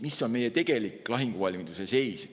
Missugune on meie tegelik lahinguvalmiduse seis?